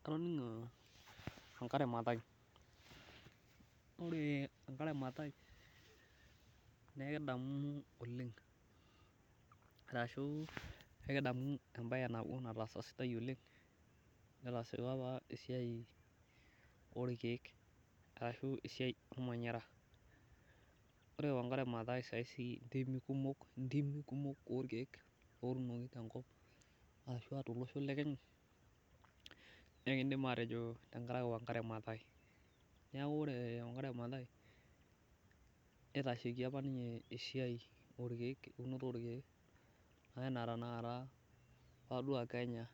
Atoning'o Wangari Mathai. Ore Wangari Mathai na ikidamu oleng'. Ashu ikidamu ebae sidai nataasa oleng' neetasa apa esai oo irkeek ashu esiai ormanyara. Ore Wangari Mathai sii sai intimi kumok ntimi kumok orkeek lootunoki te nkop ashua to losho le Kenya naa ikidim atejo tenkaraki Wangari Mathai. Neeku ore Wangari Mathai nitashaikie apa ninye eunoto oorkeek esiai ee unoto orkeek ena tanakata tee Kenya